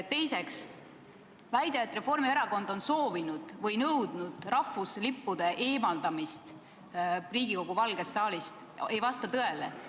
Teiseks: väide, et Reformierakond on soovinud või nõudnud rahvuslippude eemaldamist Riigikogu Valgest saalist, ei vasta tõele.